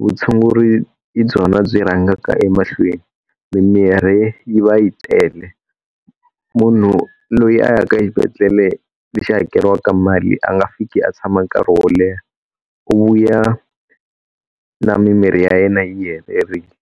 vutshunguri hi byona byi rhangaka emahlweni, mimirhi yi va yi tele. Munhu loyi a ya ka xibedhlele lexi hakeriwaka mali a nga fiki a tshama nkarhi wo leha. U vuya na mimirhi ya yena yi helerile.